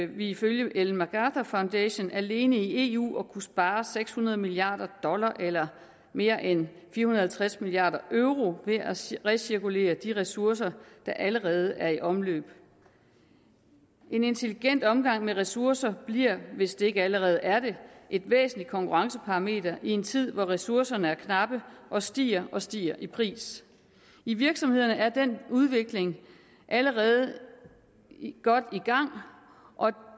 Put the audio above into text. vi ifølge ellen macarthur foundation alene i eu at kunne spare seks hundrede milliard dollars eller mere end fire halvtreds milliard euro ved at recirkulere de ressourcer der allerede er i omløb en intelligent omgang med ressourcer bliver hvis det ikke allerede er det et væsentligt konkurrenceparameter i en tid hvor ressourcerne er knappe og stiger og stiger i pris i virksomhederne er den udvikling allerede godt i gang og